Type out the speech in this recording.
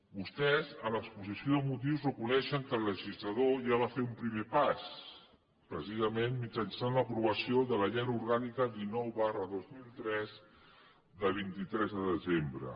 vostès en l’exposició de motius reconeixen que el legislador ja va fer un primer pas precisament mitjançant l’aprovació de la llei orgànica dinou dos mil tres de vint tres de desembre